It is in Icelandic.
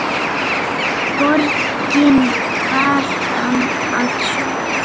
Borgin farin að sofa.